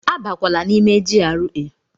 Abakwala n'ime GRA!